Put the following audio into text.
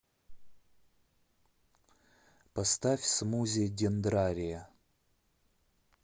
поставь смузи дендрария